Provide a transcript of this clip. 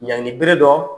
Ɲangini bere dɔ